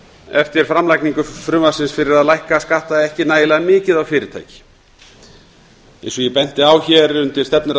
eftir framlagningu frumvarpsins fyrir að lækka skatta ekki nægilega mikið á fyrirtæki eins og ég benti á hér undir stefnuræðu